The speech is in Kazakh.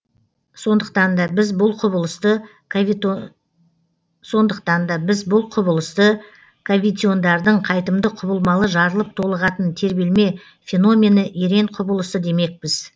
сондықтан да біз бұл құбылысты кавитиондардың қайтымды құбылмалы жарылып толығатын тербелме феномені ерен құбылысы демекпіз